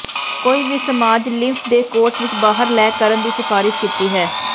ਕੋਈ ਵੀ massage lymph ਦੇ ਕੋਰਸ ਵਿੱਚ ਬਾਹਰ ਲੈ ਕਰਨ ਦੀ ਸਿਫਾਰਸ਼ ਕੀਤੀ ਹੈ